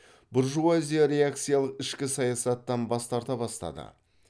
буржуазия реакциялық ішкі саясаттан бас тарта бастады